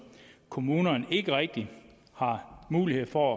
kommunerne ikke rigtig har mulighed for